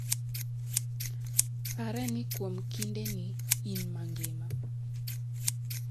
Pare ni kuom kindeni, in mangima.